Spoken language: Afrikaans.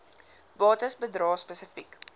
bates bedrae spesifiek